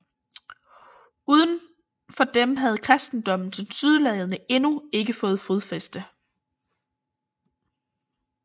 Uden for dem havde kristendommen tilsyneladende endnu ikke fået fodfæste